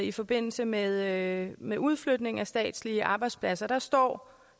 i forbindelse med med udflytning af statslige arbejdspladser hvor der står